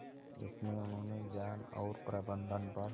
इसमें उन्होंने ज्ञान और प्रबंधन पर